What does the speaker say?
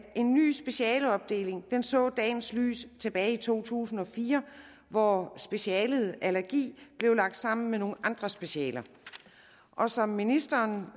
en ny specialeopdeling så dagens lys tilbage i to tusind og fire hvor specialet allergi blev lagt sammen med nogle andre specialer som ministeren